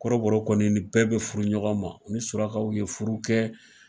Kɔrɔbɔrɔ kɔni ni bɛɛ be furu ɲɔgɔn ma. U ni surakaw be furu kɛ.